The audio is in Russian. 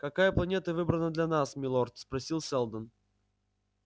какая планета выбрана для нас милорд спросил сэлдон